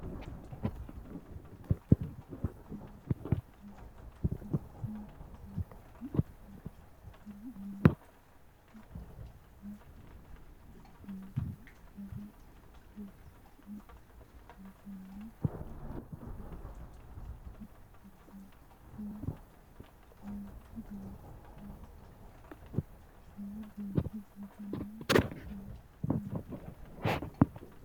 Xissame mite faayyimate base marre borreessame adhine xisso la"ano ogeeyyewa deera agare harunsate kaa'littano worqatati lawinoe kunni geerchonke lowo geeshsha biifino anesenna.